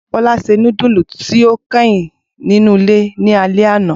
Bola se nudulu ti o kẹhin ninu ile ni alẹ ana.